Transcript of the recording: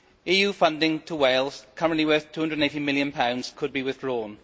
EU funding to Wales, currently worth GBP 280 million, could be withdrawn.